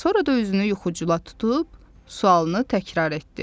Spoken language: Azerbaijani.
Sonra da üzünü yuxucula tutub sualını təkrar etdi: